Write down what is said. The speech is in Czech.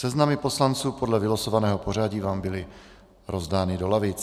Seznamy poslanců podle vylosovaného pořadí vám byly rozdány do lavic.